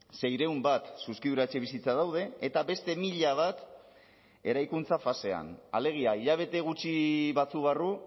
seiehun bat zuzkidura etxebizitza daude eta beste mila bat eraikuntza fasean alegia hilabete gutxi batzuk barru